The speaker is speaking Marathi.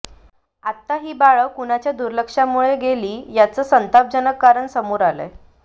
आता ही बाळं कुणाच्या दुर्लक्षामुळे गेली त्याचं संतापजनक कारण समोर आलंय